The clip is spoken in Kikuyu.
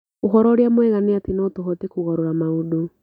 Ũhoro ũrĩa mwega nĩ atĩ no tũhote kũgarũra maũndũ.